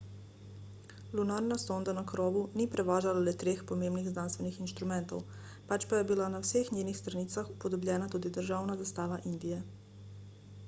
lunarna sonda na krovu ni prevažala le treh pomembnih znanstvenih inštrumentov pač pa je bila na vseh njenih stranicah upodobljena tudi državna zastava indije